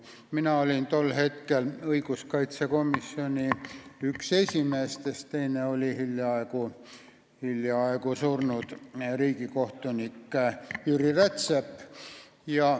Mina olin tol hetkel õiguskaitsekomisjoni üks esimeestest, teine oli riigikohtunik Jüri Rätsep, kes nüüd hiljaaegu suri.